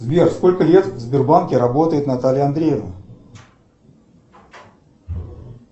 сбер сколько лет в сбербанке работает наталья андреевна